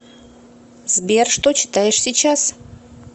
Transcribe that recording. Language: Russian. сбер что читаешь сейчас